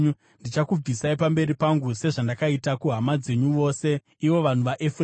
Ndichakubvisai pamberi pangu sezvandakaita kuhama dzenyu dzose, ivo vanhu vaEfuremu.’